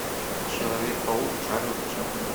человек паук чарльза чаплина